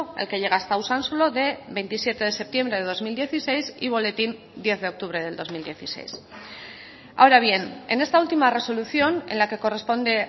el que llega hasta usansolo de veintisiete de septiembre de dos mil dieciséis y boletín diez de octubre del dos mil dieciséis ahora bien en esta última resolución en la que corresponde